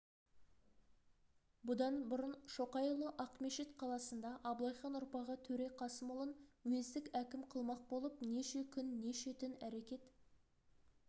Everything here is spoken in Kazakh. бұдан бұрын шоқайұлы ақмешіт қаласында абылайхан ұрпағы төре қасымұлын уездік әкім қылмақ болып неше күн неше түн әрекет